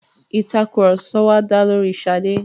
Ìtàkurọ̀sọ wa dá lóri Ṣadé.